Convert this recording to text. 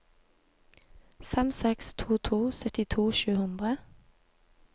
fem seks to to syttito sju hundre